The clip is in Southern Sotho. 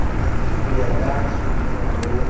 ho ya ka supina ho